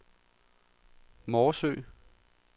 Morsø